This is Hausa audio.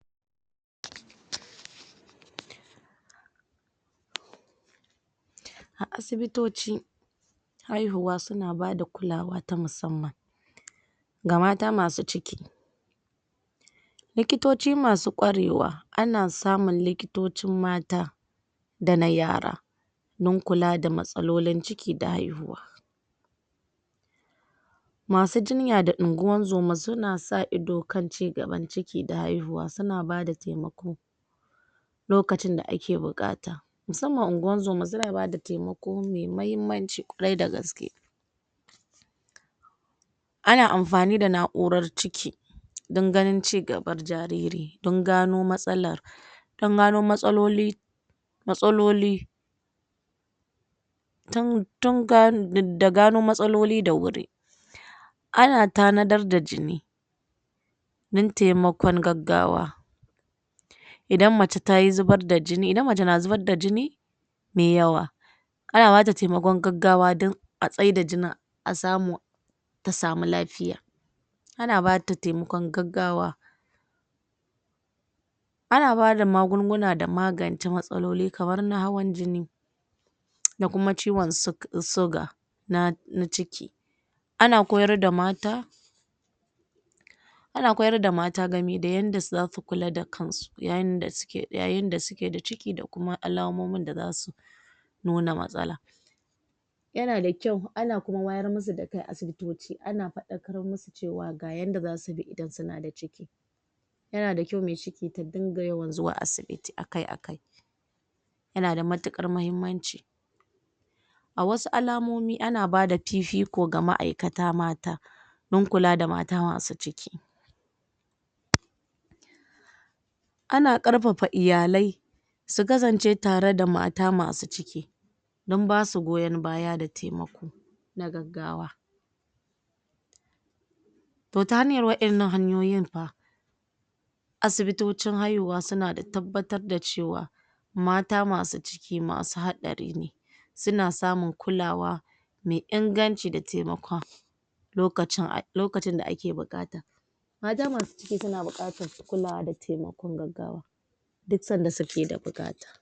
??? A asibitoci haihuwa suna bada kulawa ta musamman ga mata masu ciki likitoci masu kwarewa ana samun likitocin mata da na yara don kula da matsalolin ciki da haihuwa masu jinya da ingozoma suna sa ido kana ci gaban ciki da haihuwa suna bada taimako lokacin da ake buƙata musamman ingozoma suna ba taimako mai mahimmanci kwari da gaske ana amfani da na'urar ciki don ganin ci gabar jariri don gano matsalar don gano matsaloli mastaloli tun tun da gano matsaloli da wuri ana tanadara da jini don taimakon gaggawa idan mace ta yi zubar da jini, idan mace na zubar da jini me yawa ana bata taimakon gaggawa don a tsaida jinin a samu ta samu lafiya ana bata taimakon gaggawa ana bada magunguna da magance matsaloli kamar na hawan jini da kuma ciwon sug suga na na ciki ana koyar da mata ana koyar da mata game da yadda za su kula da kansu yayin da suke yayin da suke da ciki da kuma alamomin da za su nuna matsala yana da kyau ana kuma wayar masu da kai a asibitoci ana faɗakar masu cewa ga yadda za sui da idana suna ciki yana da kyau me ciki ta dinga yawan zuwa asibiti akai-akai yana da matuƙar muhimmanci a wasu alamomi ana bada fifiko ga ma'aikata mata don kula da mata masu ciki ana ƙarfafa iyalai su kasance tare da mata masu ciki don basu goyon baya da taimako na gaggawa to ta hanyar waɗannan hanyoyin fa asibitocin haihuwa suna da tabbatar da cewa mata masu ciki masu haɗari ne suna samun kulawa me inganci da taimakon lokacin lokacin da ake buƙata mata masu ciki suna baƙatar kulawa da taimakon gaggawa duk sanda suke da buƙata.